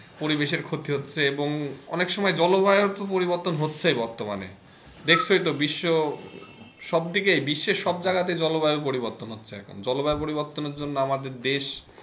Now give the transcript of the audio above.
পরিবেষের ক্ষতি হচ্ছে এবং অনেক সময় জলবায়ুর তো পরিবর্তন হচ্ছে বর্তমানে দেখছই তো বিশ্ব সবদিকে বিশ্বের সব জায়গা তে জলবায়ু পরিবর্তন হচ্ছে এখন জলবায়ুর পরিবর্তনের জন্য আমাদের দেশ,